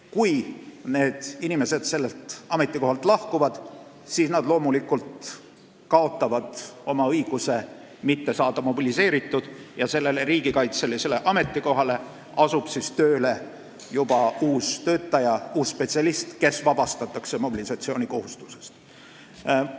Kui inimene sellelt ametikohalt lahkub, siis ta kaotab õiguse jääda mobiliseerimata, ja sellele riigikaitselisele ametikohale asub tööle juba uus töötaja, uus spetsialist, kes mobilisatsioonikohustusest vabastatakse.